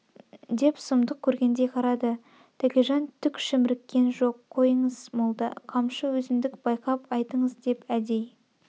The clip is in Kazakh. деп сұмдық көргендей қарады тәкежан түк шімріккен жоқ қойыңыз молда қамшы өзімдік байқап айтыңыз деп әдей